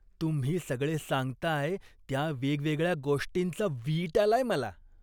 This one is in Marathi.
तुम्ही सगळे सांगताय त्या वेगवेगळ्या गोष्टींचा वीट आलाय मला!